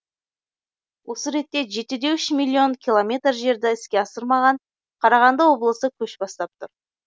осы ретте жетіде үш миллион километр жерді іске асырмаған қарағанды облысы көш бастап тұр